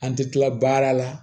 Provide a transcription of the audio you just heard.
An tɛ tila baara la